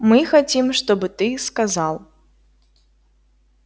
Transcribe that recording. мы хотим чтобы ты сказал